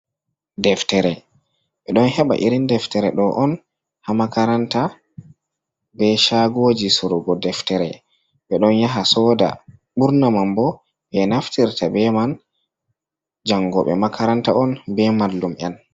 Deftere ɓe ɗon heɓa irin deftere ɗo on hamakaranta, ɓe shagoji surugo deftere, ɓe don yaha soɗa ɓurna man ɓo be naftirta be man jango ɓe makaranta on ɓe mallum'en.